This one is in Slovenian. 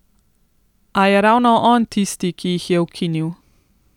A je ravno on tisti, ki jih je ukinil!